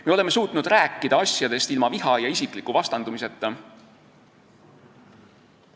Me oleme suutnud rääkida asjadest ilma viha ja isikliku vastandumiseta.